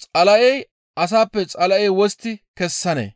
«Xala7ey asappe Xala7e wostti kessanee?